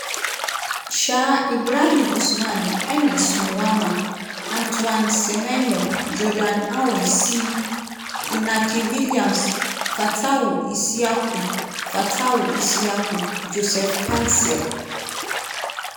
um ibrahim osman ernest nuamah antoine semenyo jordan ayew (c) inaki williams fatawu issahaku fatawu issahaku joseph paintsil